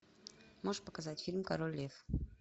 можешь показать фильм король лев